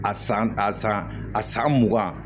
A san a san a san mugan